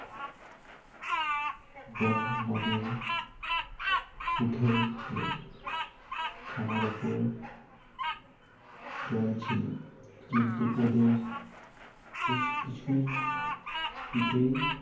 বন গনে উঠে এলো থামার উপর জল ছিল কিন্তু ওদের শেষ কিছুই দিকেই